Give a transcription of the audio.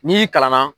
N'i kalan na